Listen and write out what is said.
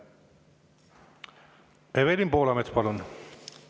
Evelin Poolamets, palun!